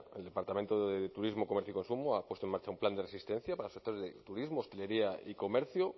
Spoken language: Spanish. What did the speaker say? el departamento de turismo comercio y consumo ha puesto en marcha un plan de resistencia para sectores de turismo hostelería y comercio